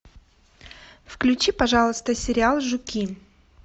включи пожалуйста сериал жуки